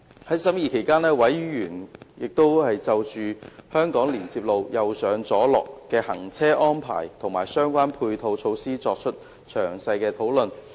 在審議期間，委員就香港連接路"右上左落"的行車安排和相關配套措施作出詳細討論。